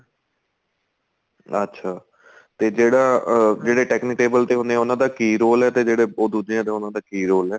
ਅੱਛਾ ਤੇ ਜਿਹੜਾ ਅਹ ਜਿਹੜੇ technitable ਤੇ ਹੁੰਨੇ ਏ ਉਹਨਾ ਦਾ ਕੀ role ਏ ਤੇ ਜਿਹੜੇ ਦੂਜੇ ਉਹਨਾ ਦਾ ਕੀ role ਏ